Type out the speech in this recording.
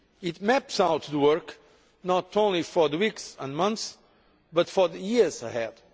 It maps out the work not only for the weeks and months, but for the years ahead.